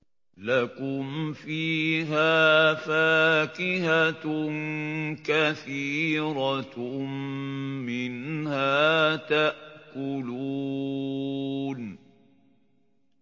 لَكُمْ فِيهَا فَاكِهَةٌ كَثِيرَةٌ مِّنْهَا تَأْكُلُونَ